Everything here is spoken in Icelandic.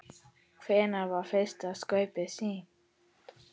Hvenær var fyrsta skaupið sýnt?